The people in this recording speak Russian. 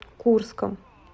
курском